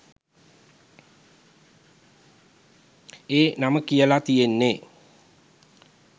ඒ නම කියලා තියෙන්නේ.